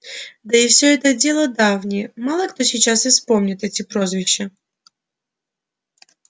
да и все это дело давнее мало кто сейчас и вспомнит эти прозвища